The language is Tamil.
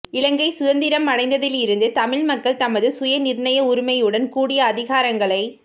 இலங்கை சுதந்திரமடைந்ததிலிருந்து தமிழ் மக்கள் தமது சுயநிர்ணய உரிமையுடன் கூடிய அதிகாரங்களைப்